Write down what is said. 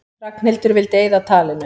Ragnhildur vildi eyða talinu.